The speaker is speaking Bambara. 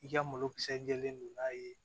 I ka malokisɛ jɛlen don n'a ye